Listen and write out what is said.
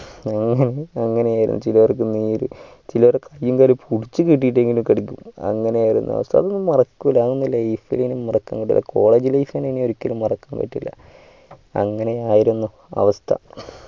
അവൻ അങ്ങനെ ആയിരുന്നു ചിലർക്കു മേൽ ചിലർക്ക് കയ്യ് കാലും പുടിച്ചു കേട്ടിട്ടെങ്കിലും കടിക്കും അങ്ങനെ ആയിരുന്നു അവസ്ഥ അതൊന്നും മറക്കൂല അതൊന്നും life ഇനി മറക്കാൻ പറ്റൂല college life ഇനി ഒരിക്കലും മറക്കാൻ പറ്റൂല അങ്ങനെ ആയിരുന്നു അവസ്ഥ